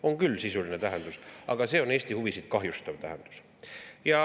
On küll sisuline tähendus, aga see on Eesti huvisid kahjustav tähendus.